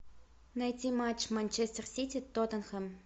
найти матч манчестер сити тоттенхэм